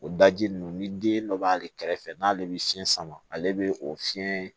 O daji ninnu ni den dɔ b'ale kɛrɛfɛ n'ale bɛ fiɲɛ sama ale bɛ o fiɲɛ